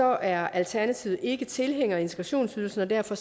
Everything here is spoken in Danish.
er alternativet ikke tilhænger af integrationsydelsen og derfor